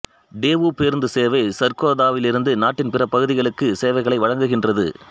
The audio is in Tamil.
டேவூ பேருந்து சேவை சர்கோதாவிலிருந்து நாட்டின் பிற பகுதிகளுக்கு சேவைகளை வழங்குகின்றது